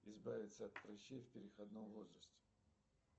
избавиться от прыщей в переходном возрасте